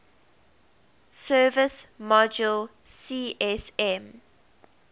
service module csm